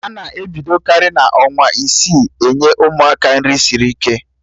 Ana ebidokarị n'ọnwa isii enye Ụmụaka nri sịrị ike